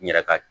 N yɛrɛ ka